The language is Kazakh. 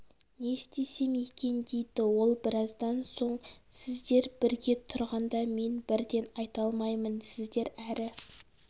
не істесем екен дейді ол біраздан соң сіздер бірге тұрғанда мен бірден айта алмаймын сіздер әрі